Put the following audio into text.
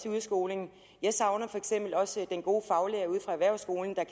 i udskolingen jeg savner også den gode faglærer ude fra erhvervsskolen der